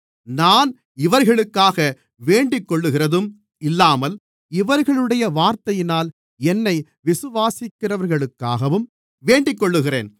நான் இவர்களுக்காக வேண்டிக்கொள்ளுகிறதும் இல்லாமல் இவர்களுடைய வார்த்தையினால் என்னை விசுவாசிக்கிறவர்களுக்காகவும் வேண்டிக்கொள்ளுகிறேன்